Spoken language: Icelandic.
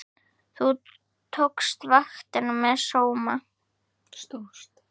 Þú stóðst vaktina með sóma.